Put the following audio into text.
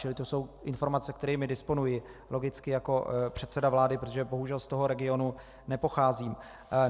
Čili to jsou informace, kterými disponuji logicky jako předseda vlády, protože bohužel z toho regionu nepocházím.